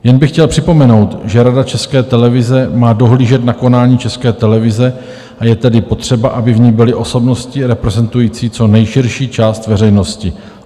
Jen bych chtěl připomenout, že rada České televize má dohlížet na konání České televize, a je tedy potřeba, aby v ní byly osobnosti reprezentující co nejširší část veřejnosti.